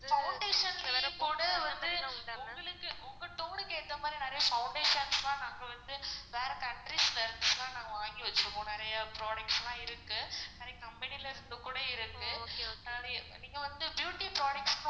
foundation வந்து உங்களுக்கு உங்க tone க்கு ஏத்த மாதிரி நிறைய foundations லான் நாங்க வந்து வேற countries ல இருந்து லான் நாங்க வாங்கி வச்சிருக்கான் நெறைய products லாம் இருக்கு. நிறைய company ல இருந்து கூட இருக்குது ஆஹ் நீங்க வந்து beauty products